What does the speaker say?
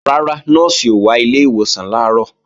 Rárá, Nọ́ọ̀sì ò wá ilé ìwòsàn làárọ̀